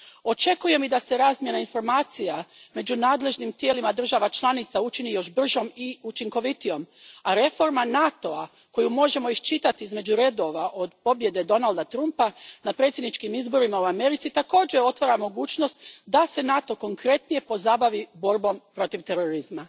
Očekujem i da se razmjena informacija među nadležnim tijelima država članica učini još bržom i učinkovitijom, a reforma NATO a, koju možemo iščitati između redova od pobjede Donalda Trumpa na predsjedničkim izborima u Americi, također otvara mogućnost da se NATO konkretnije pozabavi borbom protiv terorizma.